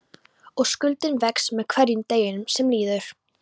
Og skuldin vex með hverjum deginum sem líður.